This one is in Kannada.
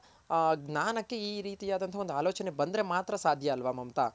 ಜ್ಞಾನಕ್ಕೆ ಈ ರೀತಿ ಅದ ಆಲೋಚನೆ ಬಂದ್ರೆ ಮಾತ್ರ ಸಾಧ್ಯ ಅಲ್ವ ಮಮತಾ.